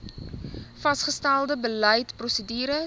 vasgestelde beleid prosedures